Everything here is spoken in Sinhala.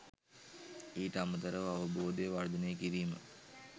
ඊට අමතරව අවබෝධය වර්ධනය කිරීම